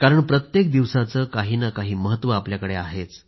प्रत्येक दिवसाचं काही ना काही महत्व आपल्याकडे आहेच